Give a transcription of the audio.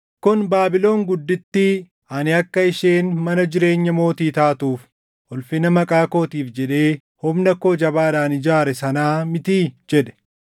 “Kun Baabilon guddittii ani akka isheen mana jireenya mootii taatuuf ulfina maqaa kootiif jedhee humna koo jabaadhaan ijaare sanaa mitii?” jedhe.